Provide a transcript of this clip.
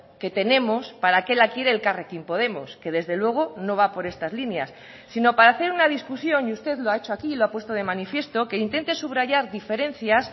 que tenemos para qué la quiere elkarrekin podemos que desde luego no va por estas líneas sino para hacer una discusión y usted lo ha hecho aquí y lo ha puesto de manifiesto que intente subrayar diferencias